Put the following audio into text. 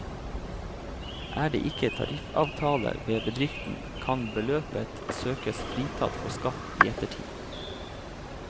Er det ikke tariffavtale ved bedriften, kan beløpet søkes fritatt for skatt i ettertid.